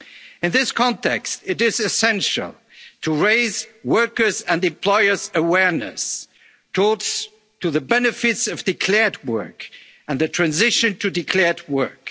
for workers. In this context, it is essential to raise workers' and employers' awareness towards the benefits of declared work and the transition